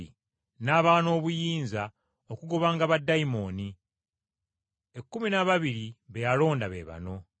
N’abawa n’obuyinza okugobanga baddayimooni. Ekkumi n’ababiri be yalonda be bano: